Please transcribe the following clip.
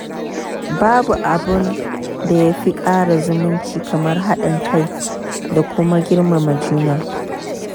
Babu abin da ya fi ƙara zumunci kamar haɗin kai da kuma girmama juna.